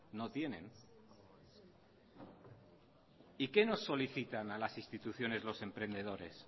no tienen y qué nos solicitan a las instituciones los emprendedores